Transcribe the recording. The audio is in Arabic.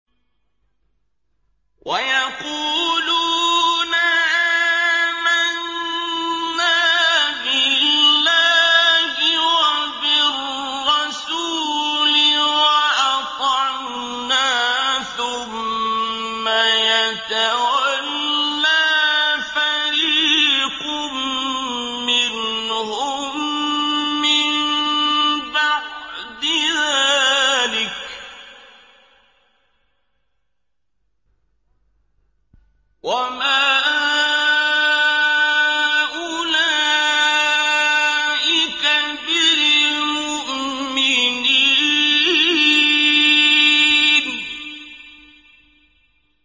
وَيَقُولُونَ آمَنَّا بِاللَّهِ وَبِالرَّسُولِ وَأَطَعْنَا ثُمَّ يَتَوَلَّىٰ فَرِيقٌ مِّنْهُم مِّن بَعْدِ ذَٰلِكَ ۚ وَمَا أُولَٰئِكَ بِالْمُؤْمِنِينَ